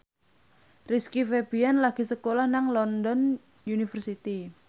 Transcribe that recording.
Rizky Febian lagi sekolah nang London University